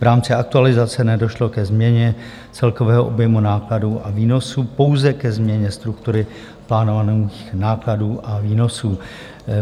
V rámci aktualizace nedošlo ke změně celkového objemu nákladů a výnosů, pouze ke změně struktury plánovaných nákladů a výnosů.